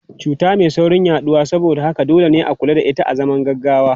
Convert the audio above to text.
Cuta mai saurin yaduwa saboda haka dole ne a kula da ita azaman gaggawa.